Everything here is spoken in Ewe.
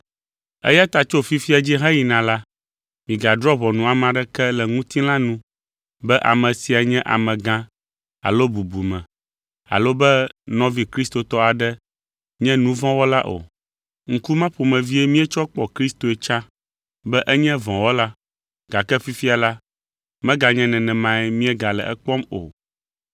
Eya ta tso fifia dzi heyina la, migadrɔ̃ ʋɔnu ame aɖeke le ŋutilã nu be ame sia nye amegã alo bubume alo be nɔvi kristotɔ aɖe nye nu vɔ̃ wɔla o. Ŋku ma ƒomevie míetsɔ kpɔ Kristoe tsã be enye vɔ̃wɔla, gake fifia la, meganye nenemae míegale ekpɔm o.